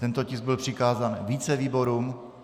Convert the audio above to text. Tento tisk byl přikázán více výborům.